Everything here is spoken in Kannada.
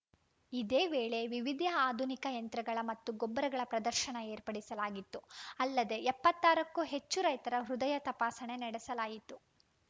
ಇದೇ ವೇಳೆ ವಿವಿದಿಯ ಆಧುನಿಕ ಯಂತ್ರಗಳ ಮತ್ತು ಗೊಬ್ಬರಗಳ ಪ್ರದರ್ಶನ ಏರ್ಪಡಿಸಲಾಗಿತ್ತು ಅಲ್ಲದೇ ಎಪ್ಪತ್ತ್ ಆರಕ್ಕೂ ಹೆಚ್ಚು ರೈತರ ಹೃದಯ ತಪಾಸಣೆ ನಡೆಸಲಾಯಿತು